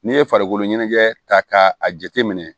N'i ye farikolo ɲɛnajɛ ta k'a jateminɛ